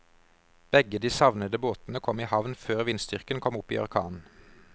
Begge de savnede båtene kom i havn før vindstyrken kom opp i orkan.